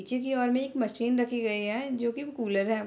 नीचे की ओर में एक मशीन रखे गए है जो की कूलर है।